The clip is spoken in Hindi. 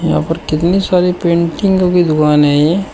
यहां पर कितनी सारी पेंटिंगों की दुकानें हैं ये --